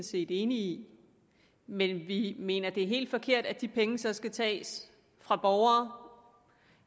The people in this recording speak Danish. set enige i men vi mener det er helt forkert at de penge så skal tages fra borgere